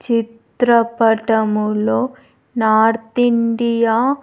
చిత్రపటములో north India .